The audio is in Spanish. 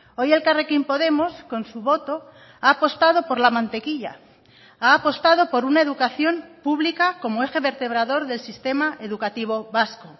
hoy elkarrekin podemos con su voto ha apostado por la mantequilla ha apostado por una educación pública como eje vertebrador del sistema educativo vasco